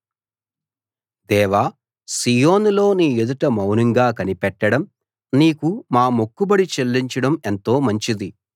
దేవా సీయోనులో నీ ఎదుట మౌనంగా కనిపెట్టడం నీకు మా మొక్కుబడి చెల్లించడం ఎంతో మంచిది